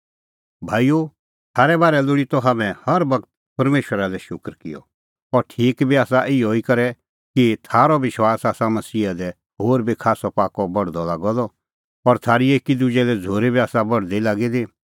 भाईओ थारै बारै लोल़ी त हाम्हैं हर बगत परमेशरा लै शूकर किअ अह ठीक बी आसा इहअ करै कि थारअ विश्वास आसा मसीहा दी होर बी खास्सअ बढदअ लागअ द और थारी एकी दुजै लै झ़ूरी बी आसा बढदी लागी दी